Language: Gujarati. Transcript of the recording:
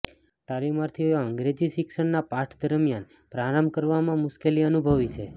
તાલીમાર્થીઓ અંગ્રેજી શિક્ષણના પાઠ દરમિયાન પ્રારંભ કરવામાં મુશ્કેલી અનુભવે છે